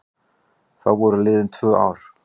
Þá voru liðin tvö ár.